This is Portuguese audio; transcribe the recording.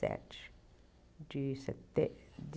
sete de